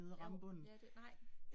Jo, ja det, nej